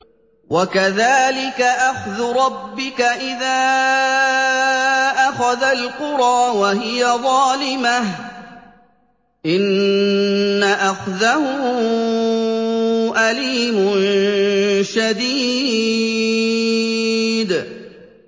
وَكَذَٰلِكَ أَخْذُ رَبِّكَ إِذَا أَخَذَ الْقُرَىٰ وَهِيَ ظَالِمَةٌ ۚ إِنَّ أَخْذَهُ أَلِيمٌ شَدِيدٌ